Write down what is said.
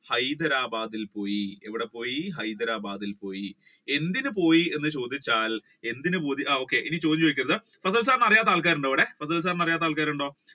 ഹൈദരാബാദിൽ പോയി എന്തിന് പോയി എന്ന് ചോദിച്ചാൽ എന്തിന് okay ഇനി ചോദ്യം ചോദിക്കരുത് fasal sir നെ അറിയാത്ത ആൾകാർ ഉണ്ടോ ഇവിടെ